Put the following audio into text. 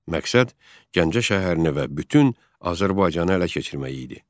Məqsəd Gəncə şəhərini və bütün Azərbaycanı ələ keçirmək idi.